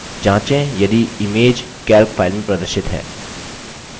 जाँचें यदि image calc file में प्रदर्शित है